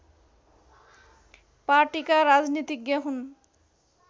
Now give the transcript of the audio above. पार्टिका राजनीतिज्ञ हुन्